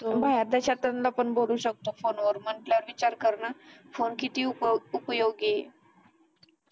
बाहेर देशातून पण बोलू शकतो फोनवर म्हंटल्यावर विचार कर ना फोन किती उप उपयोगी हे